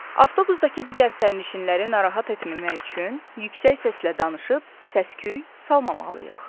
Avtobusdakı digər sərnişinləri narahat etməmək üçün yüksək səslə danışıb səsküy salmamalıyıq.